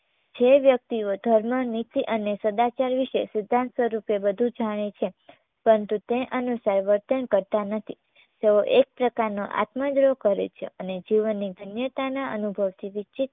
જે વ્યક્તિઓ ધર્મ, નીતિ અને સદાચાર વિશે સિદ્ધાંત સ્વરૂપે બધુ જાણે છે પરંતુ તે અનુસાર વર્તન કરતા નથી તેઓ એક પ્રકારનો આત્મદ્રોહ કરે છે અને જીવનની ધન્યતાના અનભુવથી વિસછીત